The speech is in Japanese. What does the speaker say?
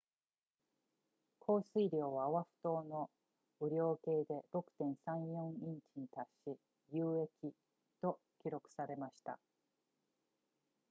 降水量はオアフ島の雨量計で 6.34 インチに達し有益と記録されました